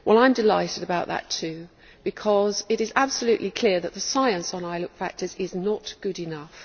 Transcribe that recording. I am delighted about that too, because it is absolutely clear that the science on ILUC factors is not good enough.